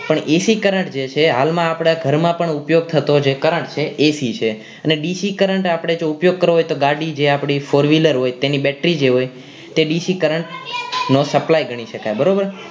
પણ AC current જે છે હાલમાં આપણા ઘર માં પણ ઉપયોગ થતો જે current છે એ એસી છે ને ડીસી current જો આપડે ઉપયોગ કરવો હોય તો ગાડી જે આપડી four wheeler હોય તેની battery તે ડીસી current નો supply ગણી શકાય બરાબર